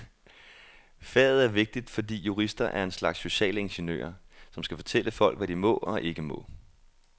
Faget er vigtigt, fordi jurister er en slags sociale ingeniører, som skal fortælle folk, hvad de må og ikke må.